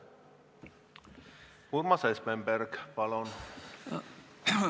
Urmas Espenberg, palun!